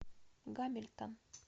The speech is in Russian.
гамильтон